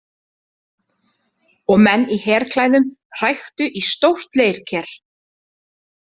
Og menn í herklæðum hræktu í stórt leirker.